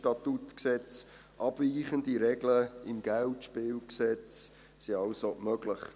Vom SStG abweichende Regeln im KGSG sind also möglich.